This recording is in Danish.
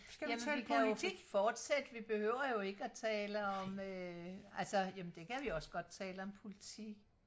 jamen vi kan jo fortsætte vi behøver jo ikke og tale om øh altså jamen det kan vi også godt tale om politik